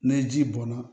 Ni ji bɔnna